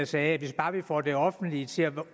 sagde at hvis bare vi får det offentlige til at